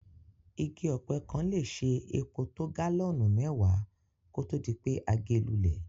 Igi ọ̀pẹ kan le se epo to gálọ́nù mẹ́wàá kótó dipé a ge lúlẹ̀